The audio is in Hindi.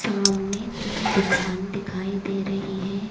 सामने तीन दुकान दिखाई दे रही है।